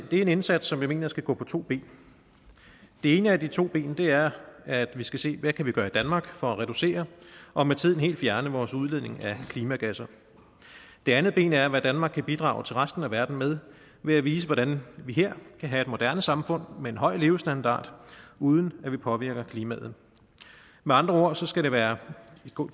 er en indsats som jeg mener skal gå på to ben det ene af de to ben er at vi skal se hvad vi kan gøre i danmark for at reducere og med tiden helt fjerne vores udledning af klimagasser det andet ben er hvad danmark kan bidrage til resten af verden med ved at vise hvordan vi her kan have et moderne samfund med en høj levestandard uden at vi påvirker klimaet med andre ord skal det være